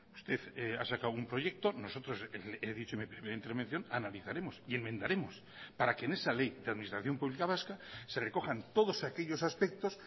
usted ha sacado un proyecto nosotros he dicho en mi primera intervención analizaremos y enmendaremos para que en esa ley de administración pública vasca se recojan todos aquellos aspectos